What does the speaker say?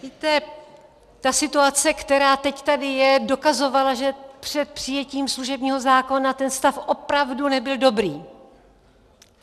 Víte, ta situace, která teď tady je, dokazovala, že před přijetím služebního zákona ten stav opravdu nebyl dobrý.